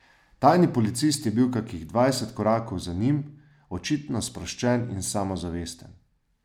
Tajni policist je bil kakih dvajset korakov za njim, očitno sproščen in samozavesten.